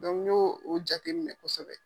n y'o jateminɛ kosɛbɛ.